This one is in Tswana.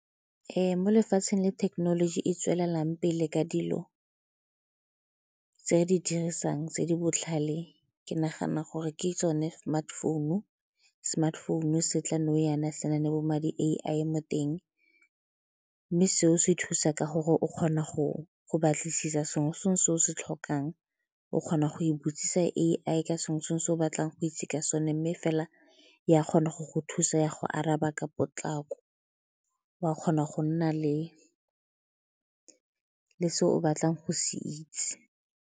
Mo lefatsheng le thekenoloji e e tswelelang pele ka dilo tse re di dirisang tse di botlhale ke nagana gore ke tsone smartphone-u. Smartphone-u se tla nou jaana se na le bo ma di-A_I mo teng mme seo se thusa ka gore o kgona go batlisisa sengwe le sengwe se o se tlhokang o kgona go e botsisa A_I ka sengwe le sengwe se o se o batlang go itse ka sone mme fela ya kgona go go thusa, ya go araba ka potlako o a kgona go nna le se o batlang go se itse.